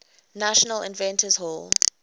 national inventors hall